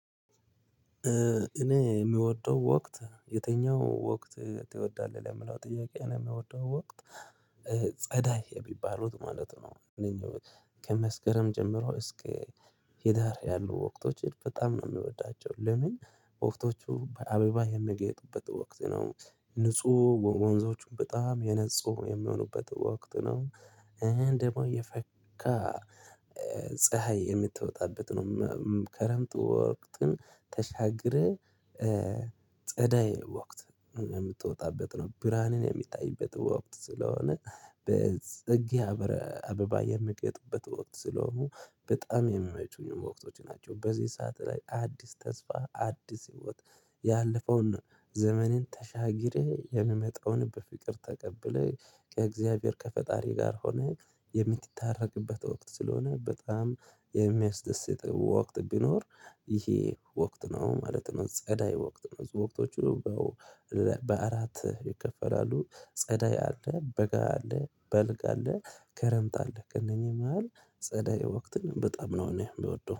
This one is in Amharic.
እኔ የምወደው ወቅት የትኛው ወቅት ትወዳለህ ለምለው ጥያቄ እኔ የምወደው ወቅት ጸደይ የሚባሉት ማለት ነው። እነኚህ ከመስከረም ጀምሮ እስከ ህዳር ያሉ ወቅቶችን በጣም ነው የሚወዳቸው። ለምን ወቅቶቹ በአበባ የሚያጌጡበት ወቅት ነው፣ ንጹህ ወንዞቹም በጣም የነፁ የሚሆኑበት ወቅት ነው፣ ደሞ የፈካ ፀሀይ የምትወጣበት ነው። ክረምት ወቅትን ተሻግረህ ጸደይ ወቅት የምትወጣበት ነው። ብርሃንን የምታይበት ወቅት ስለሆነ በጽጌ አበረ አበባ የምያጌጡበት ወቅት ስለሆኑ በጣም የሚመቹኝ ወቅቶች ናቸው። በዚህ ሰዓት ላይ አዲስ ተስፋ አዲስ ህይወት ያለፈውን ዘመኔን ተሻግሬ የምመጣውን በፍቅር ተቀብለህ ከእግዚአብሔር ከፈጣሪ ጋር ሆነህ የምትታረቅበት ወቅት ስለሆነ በጣም የሚያስደስት ወቅት ቢኖር ይሄ ወቅት ነው ማለት ነው። ጸደይ ወቅት ነው። ወቅቶቹ በአራት ይከፈላሉ። ጸደይ አለ፣ በጋ አለ፣ በልግ አለ፣ ክረምት አለ። ከእነኚህ መሃል ጸደይ ወቅትን በጣም ነው እኔ የምወደው።